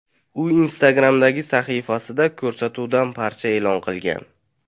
U Instagram’dagi sahifasida ko‘rsatuvdan parcha e’lon qilgan .